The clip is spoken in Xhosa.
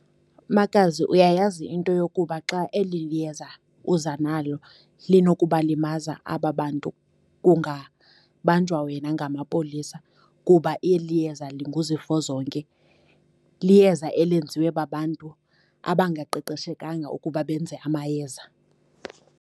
Makazi, uyayazi into yokuba xa eli yeza uza nalo linokubalimaza aba bantu kungabanjwa wena ngamapolisa? Kuba eli iyeza linguzifo zonke liyeza elenziwe babantu abangaqeqeshekanga ukuba benze amayeza.